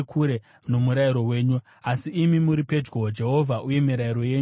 Asi imi muri pedyo, Jehovha, uye mirayiro yenyu yose ndeyezvokwadi.